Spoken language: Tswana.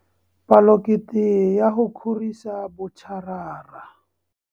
Palokete ya go kgorisa botšarara.